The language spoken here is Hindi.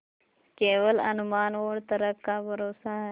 केवल अनुमान और तर्क का भरोसा है